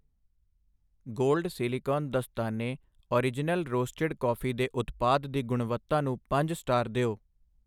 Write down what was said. gold silicon ਦਸਤਾਨੇਔਰਿਜਨਲ roasted coffee ਦੇ ਉਤਪਾਦ ਦੀ ਗੁਣਵੱਤਾ ਨੂੰ ਪੰਜ ਸਟਾਰ ਦਿਓ I